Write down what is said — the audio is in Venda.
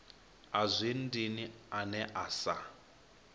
a zwi dini ane asa